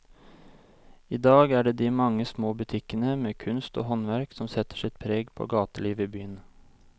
I dag er det de mange små butikkene med kunst og håndverk som setter sitt preg på gatelivet i byen.